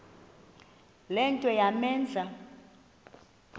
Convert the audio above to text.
le nto yamenza